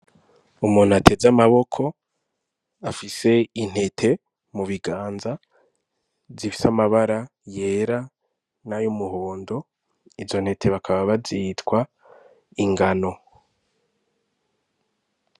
Umuntu ateze amaboko afise intete mu biganza zifise amabara yera nayumuhondo izo ntete bakaba bazitwa "ingano".